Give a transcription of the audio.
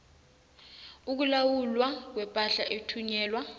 ukulawulwa kwepahla ethunyelwa